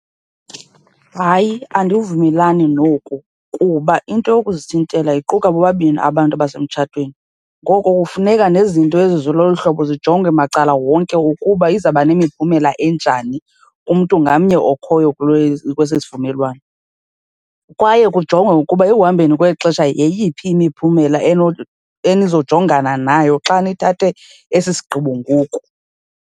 Hayi, andivumelani noku kuba into yokuzithintela iquka bobabini abantu abasemtshatweni. Ngoko kufuneka nezinto ezilolu hlobo zijonge macala wonke ukuba izawuba nemiphumela enjani, umntu ngamnye okhoyo kule kwesi sivumelwano. Kwaye kujongwe ukuba ekuhambeni kwexesha yeyiphi imiphumela enizojongana nayo xa nithathe esi sigqibo ngoku.